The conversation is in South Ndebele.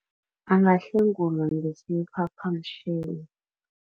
Angahlengulwa ngesiphaphamtjhini.